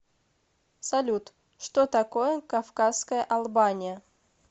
салют что такое кавказская албания